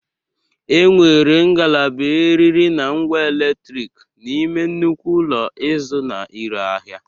E nwere ngalaba eriri na ngwa eletrik n'ime nnukwu ụlọ ịzụ na ire ahịa.